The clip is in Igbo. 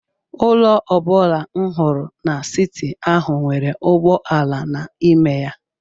Ụlọ ọ bụla m hụrụ n'siti ahụ nwere ụgbọ ala n’ime ya.